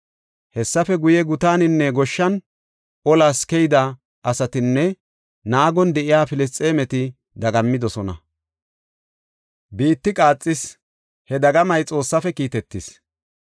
Hessafe guye, gutanin goshshan, olas keyida asatinne naagon de7iya Filisxeemeti dagammidosona. Biitti qaaxis; he dagamay Xoossafe kiitetis.